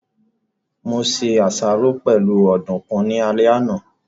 Mo se àsáró pẹ̀lú ọ̀dùkún ní alẹ́ àná